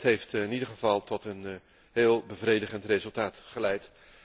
Het heeft in ieder geval tot een bevredigend resultaat geleid.